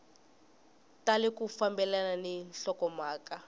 tali ku fambelana ni nhlokomhaka